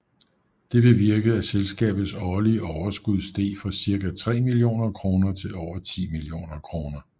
Det bevirkede at selskabets årlige overskud steg fra cirka tre millioner kroner til over 10 millioner kr